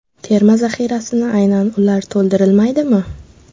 Terma zaxirasini aynan ular to‘ldirilmaydimi?